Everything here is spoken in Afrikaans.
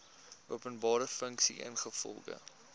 openbare funksie ingevolge